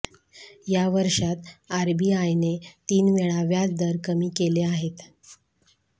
या वर्षात आरबीआयने तीन वेळा व्याज दर कमी केले आहेत